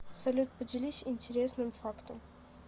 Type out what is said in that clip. салют поделись интересным фактом